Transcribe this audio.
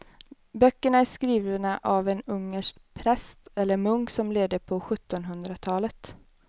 Böckerna är skrivna av en ungersk präst eller munk som levde på sjuttonhundratalet.